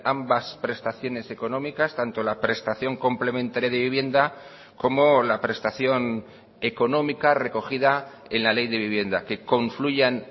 ambas prestaciones económicas tanto la prestación complementaria de vivienda como la prestación económica recogida en la ley de vivienda que confluyan